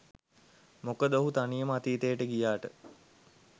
මොකද ඔහු තනියම අතීතයට ගියාට